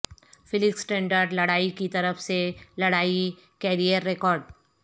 Felix Trinidad لڑائی کی طرف سے لڑائی کیریئر ریکارڈ